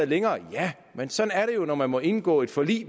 længere ja men sådan er det jo når man må indgå et forlig